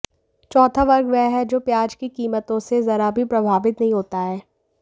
चौथा वर्ग वह है जो प्याज की कीमतों से जरा भी प्रभावित नहीं होता है